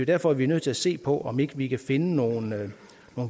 derfor vi er nødt til at se på om ikke vi kan finde nogle